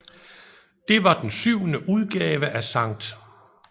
Det var den syvende udgave af St